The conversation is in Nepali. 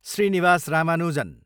श्रीनिवास रामानुजन